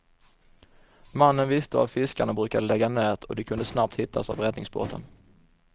Mannen visste var fiskarna brukade lägga nät, och de kunde snabbt hittas av räddningsbåten.